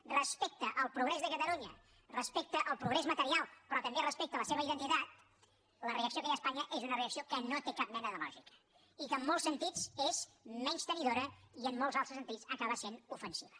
respecte al progrés de catalunya respecte al progrés material però també respecte a la seva identitat la reacció que hi ha a espanya és una reacció que no té cap mena de lògica i que en molts sentits és menystenidora i en molts altres sentits acaba sent ofensiva